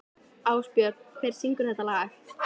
Ásbjörn, hver syngur þetta lag?